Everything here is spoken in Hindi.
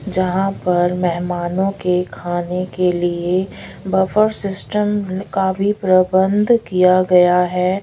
जहाँ पर मेहमानों के खाने के लिए बफे सिस्टम काफी पूरा बंद किया गया हैं।